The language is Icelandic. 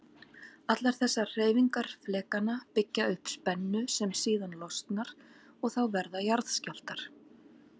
Allar þessar hreyfingar flekanna byggja upp spennu sem síðan losnar og þá verða jarðskjálftar.